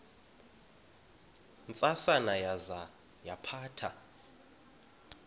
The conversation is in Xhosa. ntsasana yaza yaphatha